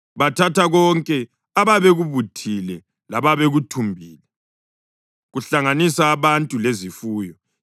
Bathatha konke ababekubuthile lababekuthumbile, kuhlanganisa abantu lezifuyo,